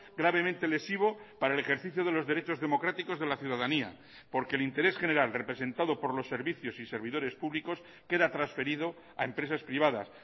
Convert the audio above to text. gravemente lesivo para el ejercicio de los derechos democráticos de la ciudadanía porque el interés general representado por los servicios y servidores públicos queda transferido a empresas privadas